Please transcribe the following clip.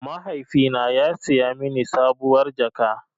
Mahaifina ya saya mini sabuwar jaka.